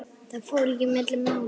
Það fór ekki milli mála.